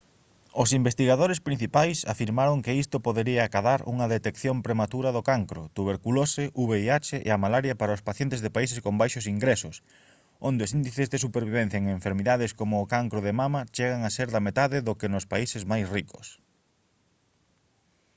os investigadores principais afirmaron que isto podería acadar unha detección prematura do cancro tuberculose vih e a malaria para os pacientes de países con baixos ingresos onde os índices de supervivencia en enfermidades como o cancro de mama chegan a ser da metade do que nos países máis ricos